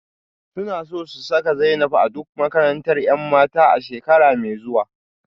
Suna so su saka Zainab a duk makarantar 'yan mata a shekara mai zuwa